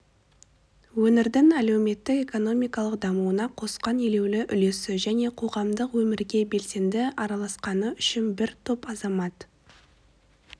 өңірдің әлеуметтік-экономикалық дамуына қосқан елеулі үлесі және қоғамдық өмірге белсенді араласқаны үшін бір топ азамат